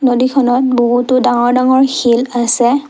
নদীখনত বহুতো ডাঙৰ ডাঙৰ শিল আছে।